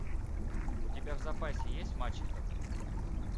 у тебя в запасе есть мачеха